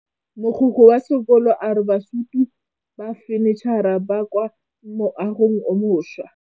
Mogokgo wa sekolo a re bosutô ba fanitšhara bo kwa moagong o mošwa.